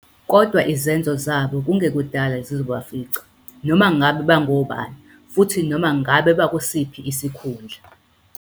Kodwa izenzo zabo kungekudala zizobafica, noma ngabe bangobani, futhi noma ngabe bakusiphi isikhundla.